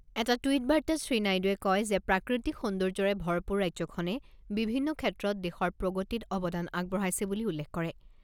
এটা টুইট বাৰ্তাত শ্ৰী নাইডুৱে কয় যে প্ৰাকৃতিক সৌন্দৰ্যৰে ভৰপূৰ ৰাজ্যখনে বিভিন্ন ক্ষেত্ৰত দেশৰ প্ৰগতিত অৱদান আগবঢ়াইছে বুলি উল্লেখ কৰে।